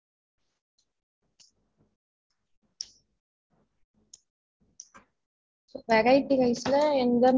சரி okay நீங்க வந்து இத variety rice க்கு வந்து lunch க்கு வந்து நீங்க எனக்கு அது ஒரு